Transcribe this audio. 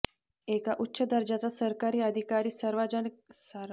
एका उच्च दर्जाचा सरकारी अधिकारी सार्वजनिकरीत्या असे बोलू शकतो यातच सर्व आले